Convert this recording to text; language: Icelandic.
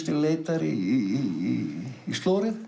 leitar í